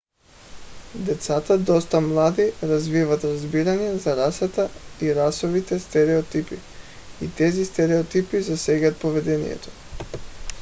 децата доста млади развиват разбиране за расата и расовите стереотипи и тези стереотипи засягат поведението